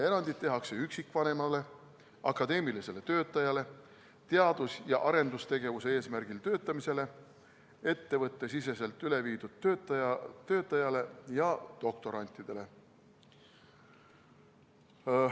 Erandeid tehakse üksikvanemale, akadeemilisele töötajale, teadus- ja arendustegevuse eesmärgil töötavale inimesele, ettevõtte sees üle viidud töötajale ja doktorandile.